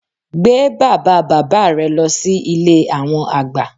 Gbé bàbá bàbá rẹ lọ sí Ilé àwọn àgbà